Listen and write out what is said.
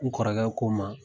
U kɔrɔkɛ ko n ma